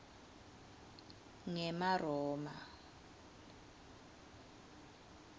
ngemaroma